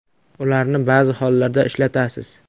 Ularni ba’zi hollarda ishlatasiz.